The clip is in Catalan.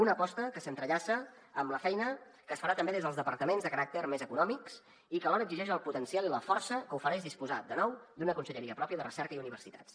una aposta que s’entrellaça amb la feina que es farà també des dels departaments de caràcter més econòmic i que alhora exigeix el potencial i la força que ofereix disposar de nou d’una conselleria pròpia de recerca i universitats